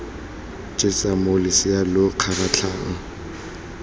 jesa moo losea lo kgaratlhang